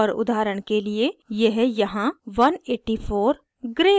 और उदाहरण के लिए यह यहाँ 184 gray है